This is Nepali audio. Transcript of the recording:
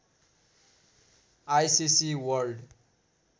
ICC world